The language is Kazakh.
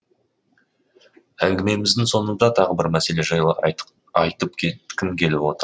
әңгімеміздің соңында тағы бір мәселе жайлы айтып кеткім келіп отыр